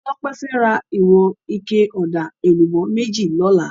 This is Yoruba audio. Tope fè rá iwòn iké òdá élúbò méjí lòlá